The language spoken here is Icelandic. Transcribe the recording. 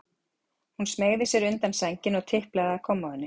Hún smeygði sér undan sænginni og tiplaði að kommóðunni.